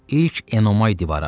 İlk Enomay divarı aşdı.